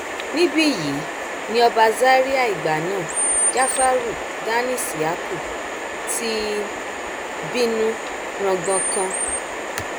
níbí yìí ni ọba zaria ìgbà náà jáfàárù dan isi yaku ti bínú rangbonkan